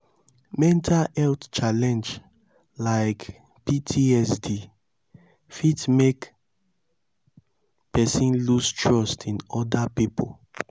mental health challenge like ptsd fit make person loose trust in oda pipo